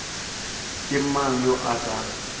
ke mang yo a sa